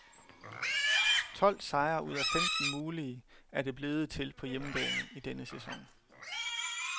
Tolv sejre ud af femten mulige er det blevet til på hjemmebane i denne sæson.